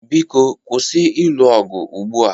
Biko kwụsị ịlụ ọgụ ugbua!